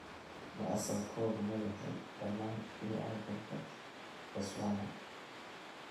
Ma asalkoodu ma yahay dhammaan bini'aadamka Botswana?